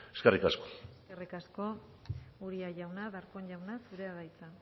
eskerrik asko eskerrik asko uria jauna darpón jauna zurea da hitza